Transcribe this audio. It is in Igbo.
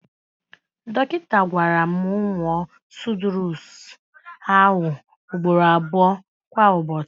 Dọkịta gwara m nwụọ súdúres ahụ ugboro abụọ kwa Ụbọchị.